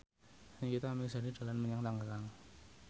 Nikita Mirzani dolan menyang Tangerang